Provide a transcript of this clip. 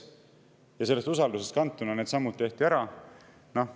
Sellest usaldusest kantuna tehti needsamad ära.